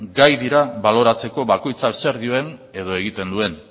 gai dira baloratzeko bakoitzak zer dioen edo egiten duen